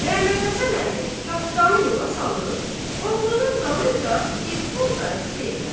Məhəmmədhəsən əmi qatdanı yola salıb oğlunun dalıyca dilxor qayıtdı evə.